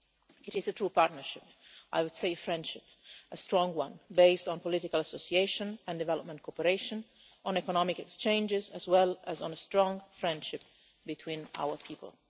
It is a true partnership I would say friendship a strong one, based on political association and development cooperation, on economic exchanges as well as on a strong friendship between our people.